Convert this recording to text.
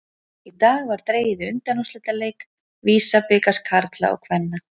Í dag var dregið í undanúrslitaleiki VISA-bikars karla og kvenna.